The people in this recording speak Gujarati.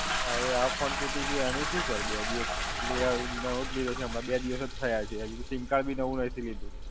હવે આ Phone તૂટી ગયો એનું શું Sir? બે દિવસ લીધા, નવો જ લીધો છે. હમણાં બે દિવસ જ થયા છે. હજુ તો SIM card ી નવું નથી લીધું.